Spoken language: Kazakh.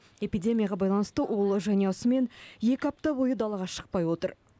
эпидемияға байланысты ол жанұясымен екі апта бойы далаға шықпай отыр